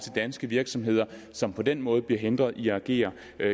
danske virksomheder som på den måde bliver hindret i at agere